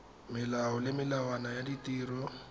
melao le melawana ya ditiro